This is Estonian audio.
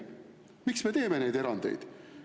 Miks me teeme neid erandeid?